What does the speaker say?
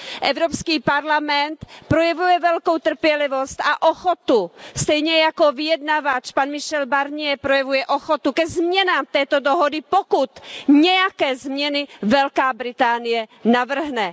Evropský parlament projevuje velkou trpělivost a ochotu, stejně jako vyjednavač pan Michel Barnier projevuje ochotu ke změnám této dohody, pokud nějaké změny Velká Británie navrhne.